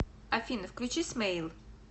афина включи смейл